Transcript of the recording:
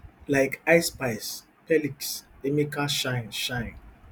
like ice spice perliks emeka shine shine